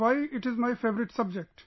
why it is my favourite subject